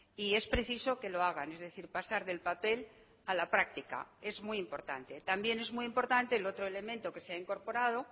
y es preciso que lo hagan es decir pasar del papel a la práctica es muy importante también es muy importante el otro elemento que se ha incorporado